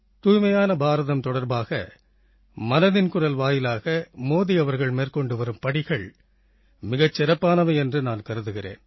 தூய்மையான பாரதம் தொடர்பாக மனதின் குரல் வாயிலாக மோதி அவர்கள் மேற்கொண்டு வரும் படிகள் மிகச் சிறப்பானவை என்று நான் கருதுகிறேன்